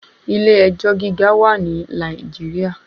Ilé ẹjọ́ gíga wà ní Nàìjíríà.